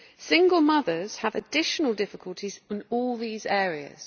Single mothers have additional difficulties in all these areas.